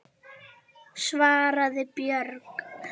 svaraði Björg.